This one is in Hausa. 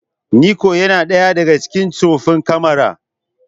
Nikon yana ɗaya daga cikin tsoffin kamara.